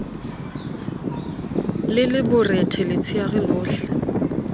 le le borethe letsheare lohle